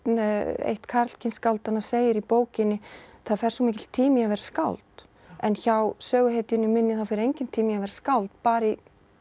eitt karlkyns skáldanna segir í bókinni það fer svo mikill tími í að vera skáld en hjá söguhetjunni minni fer enginn tími í að vera skáld bara í